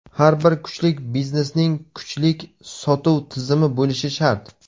Har bir kuchlik biznesning kuchlik sotuv tizimi bo‘lishi shart.